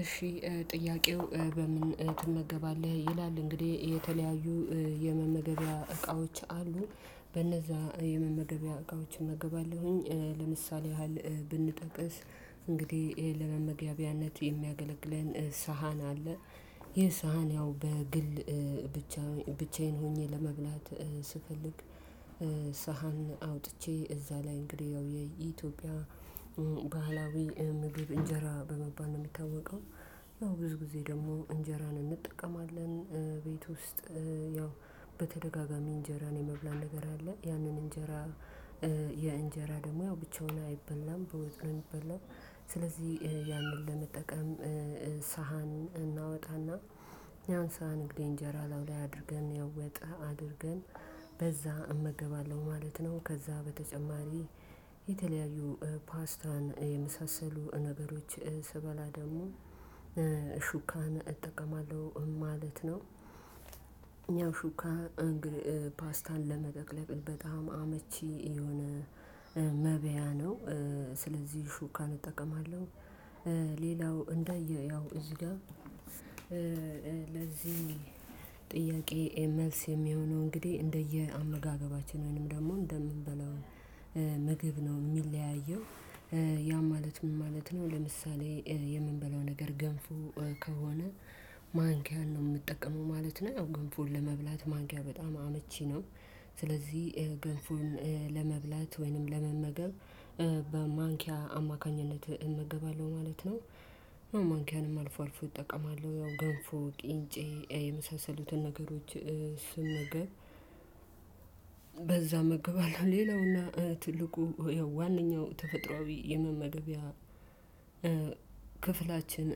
እሺ ጥያቄው በምን ትመገባለህ ይላል። እንግዲህ የተለያዩ የመመገቢያ እቃዎች አሉ። በነዛ የመመገቢያ እቃዎች እመግባለሁኝ። ለምሳሌ ያህል እንግዲህ ይሄን ለመመገቢያነት የሚያገለግለን ሳህን አለ። ይሄ ሳህን ያው በግል ብቻ ብቻዬን ሆኜ ለመብላት ስፈልግ ሳህን አውጥቼ እዛ ላይ እንግዲህ ያው የኢትዮጵያ ባህላዊ ምግብ እንጀራ በመባል ነው የሚታወቀው። ያው ብዙ ጊዜ ደግሞ እንጀራን እንጠቀማለን። ቤት ውስጥ ያው በተደጋጋሚ እንጀራን የመብላን ነገር አለ ያንን እንጀራ የእንጀራ ደግሞ ያው ብቻውን አይበላም በወጥ ነው ሚበላው። ስለዚህ ያንን ለመጠቀም ሳህን እናወጣና ያን ሳህን እንግዲህ እንጀራ ላዩ ላይ አድርገን ያወጣ አድርገን በዛ እመገባለሁ ማለት ነው። ከዛ በተጨማሪ የተለያዩ ፓስታን የመሳሰሉ ነገሮች ስበላ ደግሞ ሹካን እጠቀማለሁ ማለት ነው። ያው ሹካ እንግዲህ ፓስታን ለመጠቅለል በጣም አመቺ የሆነ መብያ ነው ስለዚህ ሹካን እጠቀማለሁ። ሌላው እዚህ ጋር ለዚህ ጥያቄ መልስ የሚሆነው እንግዲህ እንደየአመጋገባችን ወይንም ደግሞ እንደምንበላው ምግብ ነው የሚለያየው። ያ ማለት ምን ማለት ነው? ለምሳሌ የምንበላው ነገር ገንፉ ከሆነ ማንኪያን ነው የምጠቀመው ማለት ነው። ገንፉን ለመብላት ማንኪያ በጣም አመቺ ነው። ስለዚህ ገንፎን ለመብላት ወይንም ለመመገብ በማንኪያ አማካኝነት እመገባለሁ ማለት ነው። ማንኪያንም አልፎ አልፎ እጠቀማለሁ ያው ገንፎ ቅኝጬ የመሳሰሉትን ነገሮች ስመገብ በዛ እመገባለሁ። ሌላውና ትልቁ ዋነኛው ተፈጥሮአዊ የመመገቢያ ክፍላችን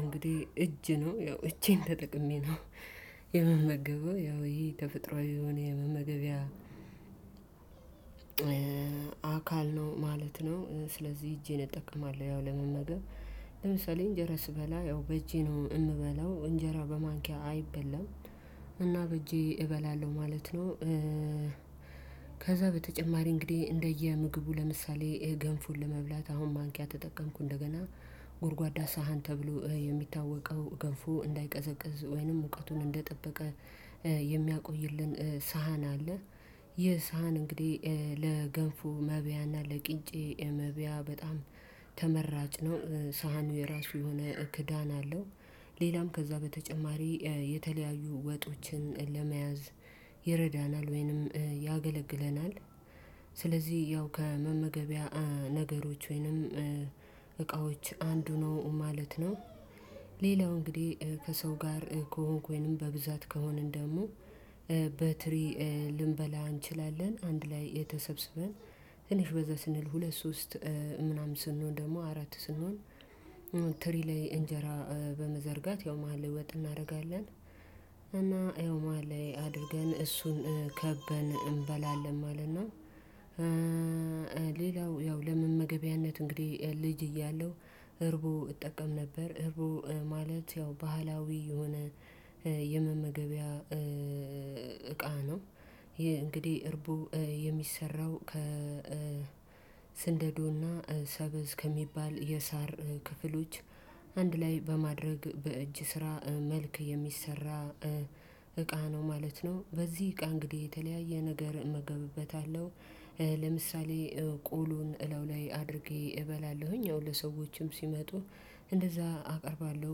እንግዲህ እጅ ነው ያው እጄን ተጠቅሜ ነው የምመገበው ያው ይሄ ተፈጥሮአዊ የሆነ የመመገቢያ አካል ነው ማለት ነው። ስለዚህ እጄን እጠቀማለሁ ያው ለመመገብ ለምሳሌ እንጀራ ስበላ ያው በእጄ ነው የምበላው እንጀራ በማንኪያ አይበላም። እና በእጄ እበላለሁ ማለት ነው። ከዛ በተጨማሪ እንግዲህ እንደየ ምግቡ ለምሳሌ ገንፎን ለመብላት አሁን ማንኪያ ተጠቀምኩ እንደገና ጎድጓዳ ሳህን ተብሎ የሚታወቀው ገንፎ እንዳይቀዘቅዝ ወይንም ሙቀቱን እንደጠበቀ የሚያቆይልን ሳህን አለ። ይህ ሳህን እንግዲህ ለገንፎ መብያና ለቅኝጬ መብያ በጣም ተመራጭ ነው ሳህኑ የራሱ የሆነ ክዳን አለው። ሌላም ከዛ በተጨማሪ የተለያዩ ወጦችን ለመያዝ ይረዳናል ወይንም ያገለግለናል። ስለዚህ ያው ከመመገቢያ ነገሮች ወይንም እቃዎች አንዱ ነው ማለት ነው። ሌላው እንግዲህ ከሰው ጋር ከሆንኩኝም በብዛት ከሆንን ደግሞ በትሪ ልንበላ እንችላለን። አንድ ላይ ተሰበሰበን ትንሽ በዛ ስንል ሁለት ሶስት ምናምን ስንሆን ደግሞ አራት ስንሆን ትሪ ላይ እንጀራ በመዘርጋት ያው መሃል ወጥ እናደርጋለን እና ያው መሃል ላይ አድርገን እሱን ከበን እንበላለን ማለት ነው። ሌላው ያው ለመመገቢያነት እንግዲህ ልጅ እያለሁ እርቡ እጠቀም ነበር። እርቡ ማለት ያው ባህላዊ የሆነ የመመገቢያ እቃ ነው። ይሄ እርቡ የሚሰራው ከስንደዶና ሰበዝ ከሚባል የሳር ክፍሎች አንድ ላይ በማድረግ በእጅ ስራ መልክ የሚሰራ ነው ማለት ነው። በዚህ እቃ እንግዲህ የተለያየ ነገር እመገብበታለሁ። ለምሳሌ ቆሎን እለው ላይ አድርጌ እበላለሁኝ ያው ለሰዎችም ሲመጡ እንደዛ አቀርባለሁ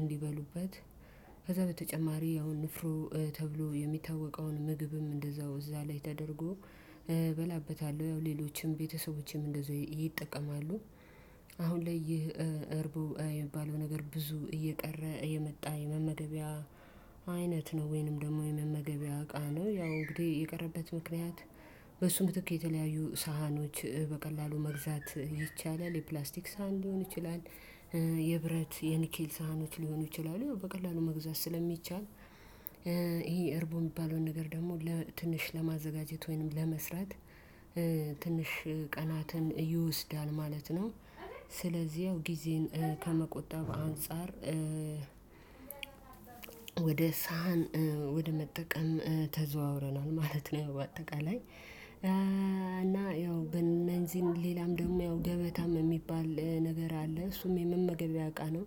እንዲበሉበት። ከዛ በተጨማሪ አሁን ንፍሮ ተብሎ የሚታወቀውን ምግብም እንደዛው እዛ ላይ ተደርጎ እበላበታለሁ። ያው ሌሎችም ቤተሰቦችም እንደዛው ይጠቀማሉ። አሁን ላይ ይህ እርቡ የሚባለው ነገር ብዙ እየቀረ የመጣ የመመገቢያ አይነት ነው። ወይንም ደግሞ የመመገቢያ እቃ ነው። ያው እንግዲህ የቀረበት ምክንያት በሱ ምትክ የተለያዩ ሳህኖች በቀላሉ መግዛት ይቻላል። የፕላስቲክ ሳህን ሊሆን ይችላል። የብረት የኒኪል ሳህኖች ሊሆኑ ይችላሉ በቀላሉ መግዛት ስለሚቻል። ይሄ እርቡ የሚባለውን ነገር ደግሞ ለትንሽ ለማዘጋጀት ወይንም ለመስራት ትንሽ ቀናትን ይወስዳል ማለት ነው። ስለዚህ ያው ጊዜን ከመቆጣብ አንፃር ወደ ሳህን ወደ መጠቀም ተዘዋውረናል ማለት ነው። ያው በአጠቃላይ እና ያው በነዚህም ሌላም ደግሞ ያው ገበታም የሚባል ነገር አለ እሱም የመመገብ ያውቃል ነው።